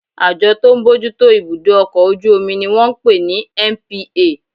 Àjọ tó ń bójú tó ibudọ ọkọ ojú omí ní wọ́n ń pè ní NPA